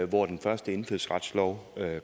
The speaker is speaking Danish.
hvor den første indfødsretslov